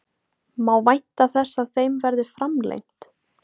Má vænta þess að þeim verði framlengt?